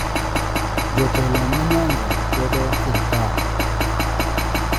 Jotelo ma nyanza kwedo sirkal